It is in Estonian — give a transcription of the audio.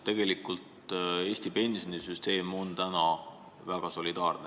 Tegelikult on Eesti pensionisüsteem väga solidaarne.